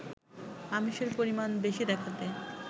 আমিষের পরিমাণ বেশি দেখাতে